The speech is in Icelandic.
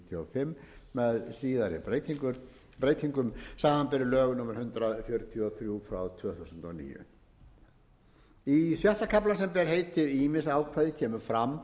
með síðari breytingum samanber lög númer hundrað fjörutíu og þrjú tvö þúsund og níu í sjötta kafla sem ber heitið ýmis ákvæði kemur fram